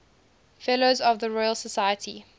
fellows of the royal society